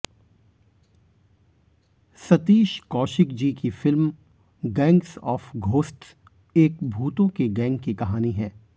सतीष कौशिक जी की film gangs of ghosts एक भूतों के गैंग की कहानी है